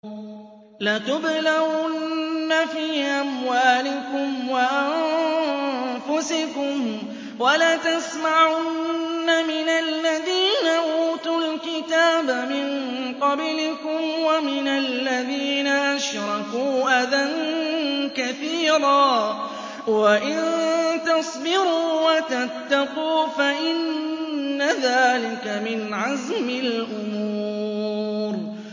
۞ لَتُبْلَوُنَّ فِي أَمْوَالِكُمْ وَأَنفُسِكُمْ وَلَتَسْمَعُنَّ مِنَ الَّذِينَ أُوتُوا الْكِتَابَ مِن قَبْلِكُمْ وَمِنَ الَّذِينَ أَشْرَكُوا أَذًى كَثِيرًا ۚ وَإِن تَصْبِرُوا وَتَتَّقُوا فَإِنَّ ذَٰلِكَ مِنْ عَزْمِ الْأُمُورِ